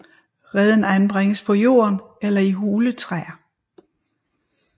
Reden anbringes på jorden eller i hule træer